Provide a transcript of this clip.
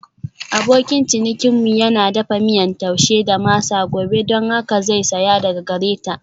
Abokin cinikinmu yana dafa miyan Taushe da masa gobe don haka zai saya daga gare ta.